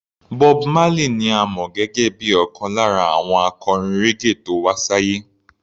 Bob Marley ni a mọ̀ gẹ́gẹ́ bíi ọ̀kan lára àwọn akọrin raggae tó wá sáyé.